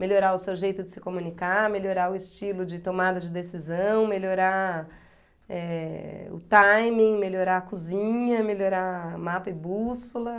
Melhorar o seu jeito de se comunicar, melhorar o estilo de tomada de decisão, melhorar, eh, o timing, melhorar a cozinha, melhorar mapa e bússola.